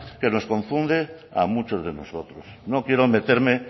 que nos confunde a muchos de nosotros no quiero meterme